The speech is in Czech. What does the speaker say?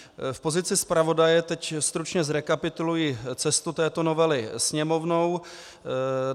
V pozici zpravodaje teď stručně zrekapituluji cestu této novely Sněmovnou.